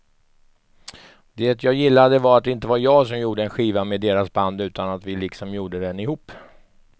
Det jag gillade var att det inte var jag som gjorde en skiva med deras band utan att vi liksom gjorde den ihop.